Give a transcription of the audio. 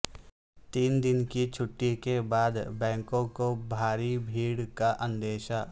تین دن کی چھٹی کے بعد بینکوں کو بھاری بھیڑ کا اندیشہ